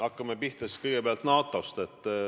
Hakkame pihta kõigepealt NATO-st.